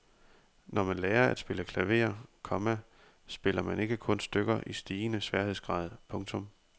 Når man lærer at spille klaver, komma spiller man ikke kun stykker i stigende sværhedsgrad. punktum